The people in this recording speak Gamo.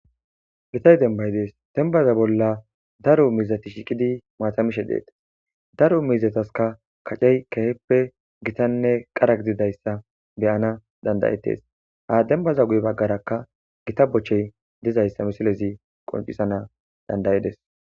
Gitay dembay dees dembaza bolla daro mizati shiqidi maatamishe deetes daro mizataska kacey keheppe gitanne qara gididayssa beyana dandayettes ha dembaza guy baggarakka gita bochchey dizayssa misilezi qoncisana dandayides.